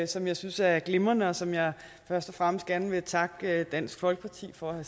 som jeg synes er glimrende og som jeg først og fremmest gerne vil takke dansk folkeparti for at